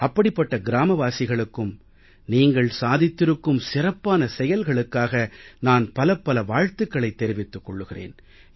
அப்படிப்பட்ட கிராமவாசிகளுக்கும் நீங்கள் சாதித்திருக்கும் சிறப்பான செயல்களுக்காக நான் பலப்பல வாழ்த்துக்களைத் தெரிவித்துக் கொள்கிறேன்